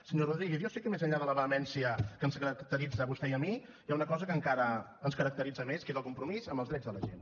senyor rodríguez jo sé que més enllà de la vehemència que ens caracteritza a vostè i a mi hi ha una cosa que encara ens caracteritza més que és el compromís amb els drets de la gent